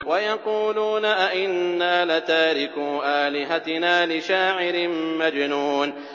وَيَقُولُونَ أَئِنَّا لَتَارِكُو آلِهَتِنَا لِشَاعِرٍ مَّجْنُونٍ